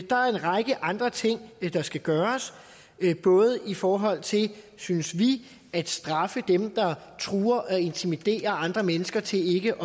der er en række andre ting der skal gøres både i forhold til synes vi at straffe dem der truer og intimiderer andre mennesker til ikke